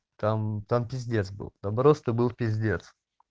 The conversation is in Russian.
там там пиздец был там просто был пиздец